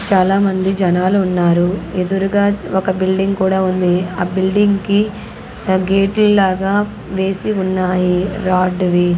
చాలామంది జనాలు ఉన్నారు ఎదురుగా ఒక బిల్డింగ్ కూడా ఉంది ఆ బిల్డింగ్ కి గేట్లు లాగా వేసి ఉన్నాయి రాడ్డవి .